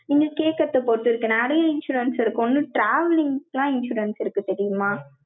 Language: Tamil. நீங்க கேக்கறதைப் பொறுத்து இருக்கு, நெறய insurance இருக்கு. ஒண்ணு travelling க்கெல்லாம் insurance இருக்கு தெரியுமா